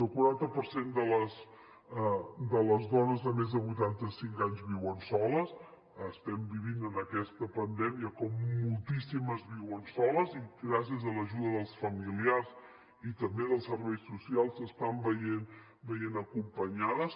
el quaranta per cent de les dones de més de vuitanta cinc anys viuen soles estem vivint en aquesta pandèmia com moltíssimes viuen soles i gràcies a l’ajuda dels familiars i també dels serveis socials s’estan veient acompanyades